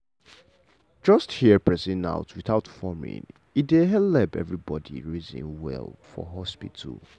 just hear person out without forming e dey helep everybody reason well for hospital.